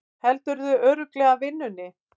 Heldurðu örugglega vinnunni?